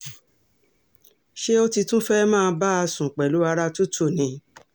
ṣé o ti tún fẹ́ẹ́ máa bá a sùn pẹ̀lú ara tútù ni